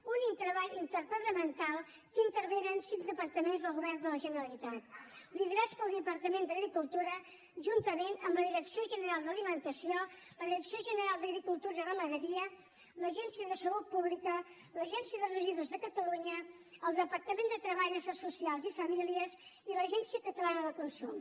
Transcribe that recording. únic treball interdepartamental en què intervenen cinc departaments del govern de la generalitat liderats pel departament d’agricultura juntament amb la direcció general d’alimentació la direcció general d’agricultura i ramaderia l’agència de salut pública l’agència de residus de catalunya el departament de treball afers socials i famílies i l’agència catalana del consum